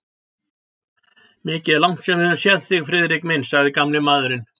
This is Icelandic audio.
Mikið er langt síðan við höfum séð þig, Friðrik minn sagði gamli maðurinn.